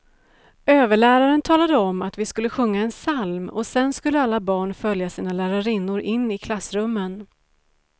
Överläraren talade om att vi skulle sjunga en psalm och sedan skulle alla barn följa sina lärarinnor in i klassrummen.